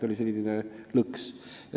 Oli selline lõks.